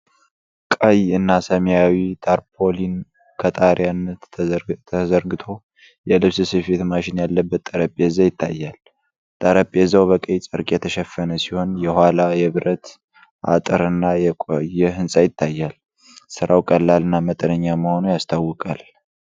ቀይ እና ሰማያዊ ታርፓሊን ከጣሪያነት ተዘርግቶ፣ የልብስ ስፌት ማሽን ያለበት ጠረጴዛ ይታያል። ጠረጴዛው በቀይ ጨርቅ የተሸፈነ ሲሆን፣ ከኋላ የብረት አጥርና የቆየ ህንጻ ይታያል። ሥራው ቀላል እና መጠነኛ መሆኑ ያስታውቃል።